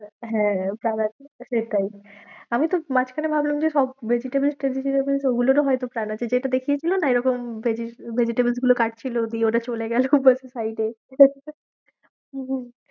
হ্যাঁ, তার আগে সেটাই আমি তো মাঝখানে ভাবলাম যে সব ওগুলোরও হয়তো যেটা দেখিয়েছিলো না এরকম vegetables গুলো কাটছিল, দিয়ে ওটা চলে গেলো হম হম